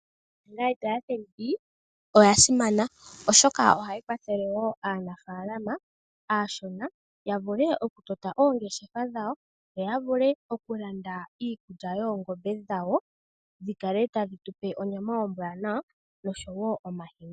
Iimaliwa oya simana oshoka ohayi kwathele aanafalama aashona yavulu oku tota oongeshefa dhawo yo yavule okulanda iikulya yoongombe dhawo dhikale tadhi tupe onyama ombwanawa oshowo omahini.